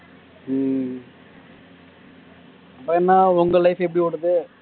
உம் அப்புறம் என்ன உங்க life எப்படி ஓடுது